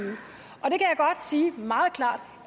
meget klart